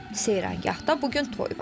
Seyrəngahda bu gün toy var.